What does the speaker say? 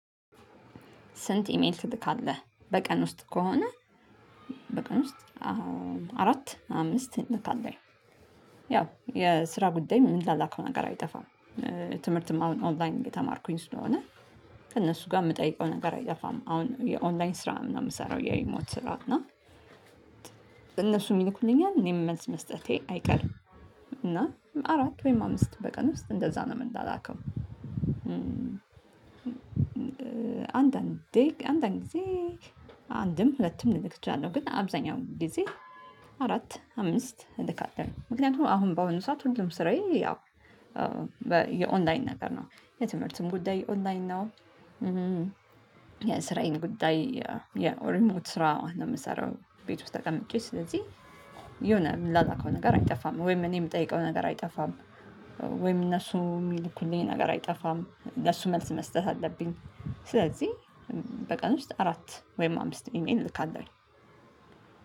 ስንት ኢሜል ትልካለህ? በቀን ውስጥ ከሆነ በቀን ውስጥ አራት አምስት እንልካለን። ያው የስራ ጉዳይ የምንላላከው ነገር አይጠፋም። ትምህርትም አሁን ኦንላይን እየተማርኩኝ ስለሆነ ከእነሱ ጋር የምጠይቀው ነገር አይጠፋም። አሁን የኦንላይን ስራ ነው የምሰራው የሪሞት ስራ። እና እነሱም ይልኩልኛል፣ እኔም መልስመስጠቴ አይቀርም። እና አራት ወይም አምስት በቀን ውስጥ እንደዛ ነው የምንላላከው። አንዳንዴ አንዳንድ ጊዜ አንድም ሁለትም ልልክ እችላለሁ። ግን አብዛኛው ጊዜ አራት አምስት እልካለሁ። ምክንያቱም አሁን በአሁኑ ሰዓት ሁሉም ስራዬ ያው የኦንላይን ነገር ነው። የትምህርትም ጉዳይ ኦንላይን ነው፣ የስራዬን ጉዳይ የሪሞት ስራ ነው የምሰራው ቤት ውስጥ ተቀምጬ ስለዚህ የሆነ የምንላላከው ነገር አይጠፋም። ወይም እኔ የምጠይቀው ነገር አይጠፋም ወይም እነሱ የሚልኩልኝ ነገር አይጠፋም። ለሱ መልስ መስጠት አለብኝ። ስለዚህ በቀን ውስጥ አራት ወይም አምስት ኢሜል እልካለሁ።